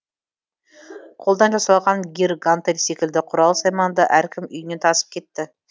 қолдан жасалған гир гантел секілді құрал сайманды әркім үйіне тасып кетті